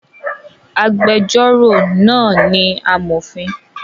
Agbẹjọ́rò náà ni amọ̀fin